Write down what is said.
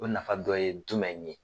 O nafa dɔ ye jumɛn ye?